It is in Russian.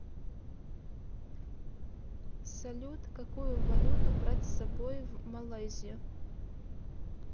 салют какую валюту брать с собой в малайзию